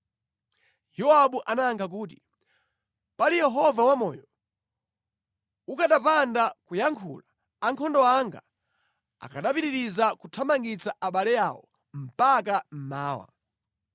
Yowabu anayankha kuti, “Pali Yehova wamoyo, ukanapanda kuyankhula, ankhondo anga akanapitiriza kuthamangitsa abale awo mpaka mmawa.”